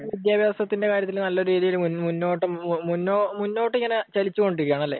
വിദ്യാഭ്യാസത്തിന്റെ കാര്യത്തിൽ നല്ല രീതിയിൽ മുന്നോ, മുന്നോട്ട് ഇങ്ങനെ ചലിച്ചുകൊണ്ടിരിക്കുകയാണല്ലേ?